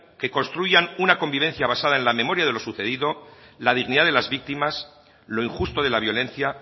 que construyan una convivencia basada en la memoria de lo sucedido la dignidad de las víctimas lo injusto de la violencia